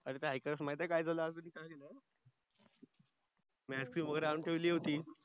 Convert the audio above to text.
काय झाल आज मी आयस्क्रीम वगेरे आणून ठेवली होती